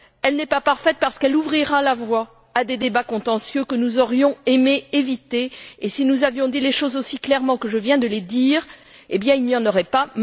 Elle n'est pas parfaite parce qu'elle ouvrira la voie à des débats contentieux que nous aurions aimé éviter, et si nous avions dit les choses aussi clairement que je viens de le dire, il n'y en aurait pas.